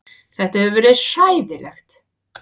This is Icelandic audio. Þetta hefur verið hræðilegt